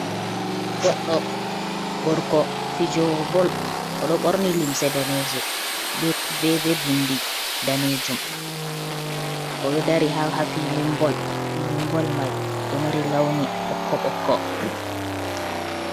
Goɗɗo gorko fijowo bol oɗo ɓorni limse daneje be be bindi danejum oɗo dari ha ha filin bol. Filin bol mai ɗo mari launi ɓokko ɓokko.